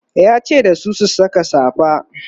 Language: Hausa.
yace dasu "ku Saka safa!"